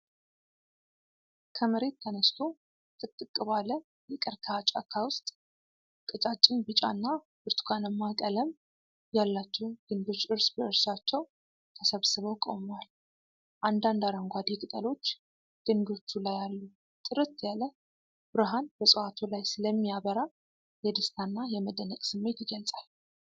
ከመሬት ተነስቶ፣ ጥቅጥቅ ባለ የቀርከሃ ጫካ ውስጥ፣ ቀጫጭን ቢጫና ብርቱካንማ ቀለም ያላቸው ግንዶች እርስ በእርሳቸው ተሰብስበው ቆመዋል። አንዳንድ አረንጓዴ ቅጠሎች ግንዶቹ ላይ አሉ። ጥርት ያለ ብርሃን በዕፅዋቱ ላይ ስለሚያበራ የደስታና የመደነቅ ስሜት ይገለጻል።